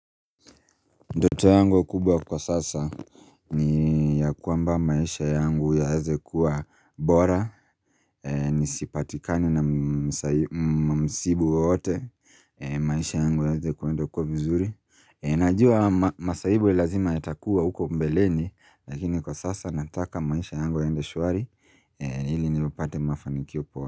Ndoto yangu kubwa kwa sasa ni kwamba maisha yangu yaweze kuwa bora Nisipatikane na masaibu wowote maisha yangu yaweze kuenda kwa vizuri Najua masahibu lazima yatakuwa huko mbeleni Lakini kwa sasa nataka maisha yangu yaende shwari ili nipate mafanikio upo.